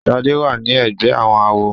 Shade wá ní ègbé àwọn àwo.